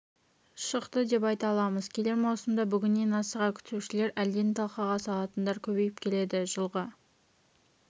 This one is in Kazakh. шықты деп айта аламыз келер маусымды бүгіннен асыға күтушілер әлден талқыға салатындар көбейіп келеді жылғы